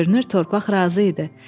Görünür torpaq razı idi.